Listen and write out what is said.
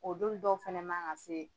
O don dɔw fɛnɛ ma ka se.